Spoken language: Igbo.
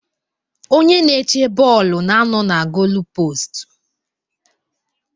Onye na-eche bọọlụ na-anọ na golupostu.